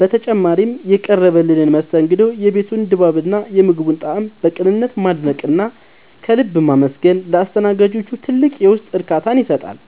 በተጨማሪም፣ የቀረበልንን መስተንግዶ፣ የቤቱን ድባብና የምግቡን ጣዕም በቅንነት ማድነቅና ከልብ ማመስገን ለአስተናጋጆቹ ትልቅ የውስጥ እርካታን ይሰጣል።